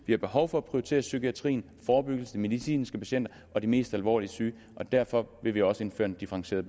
vi har behov for at prioritere psykiatrien forebyggelsen de medicinske patienter og de mest alvorligt syge og derfor vil vi også indføre en differentieret